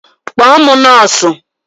Kpọọ m nọọsụ